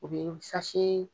U bɛ